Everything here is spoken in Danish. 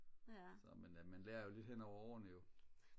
så men øh man lærer jo lidt hen ad årene jo